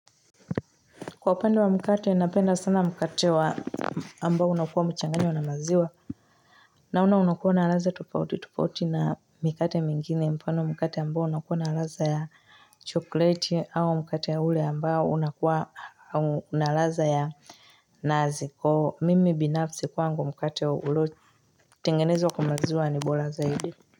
Kwa upande wa mkate napenda sana mkate wa ambao unakuwa umechanganywa na maziwa naona unakuwa na ratha tufauti tufauti na mikate mingine mfano wa mkate ambao unakuwa na ratha ya chokoleti au mkate ule ambao unakuwa na ratha ya nazi kwahio mimi binafsi kwangu mkate wa ulio tengenezwa kwamaziwa ni bora zaidi.